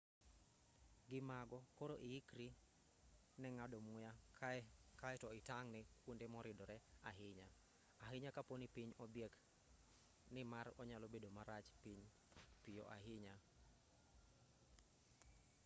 gi mago koro ikri ne ng'ado muya kaeto itang' ne kuonde moridre ahinya ahinya kaponi piny odhiek ni mar onyalo bedo marach piyo ahinya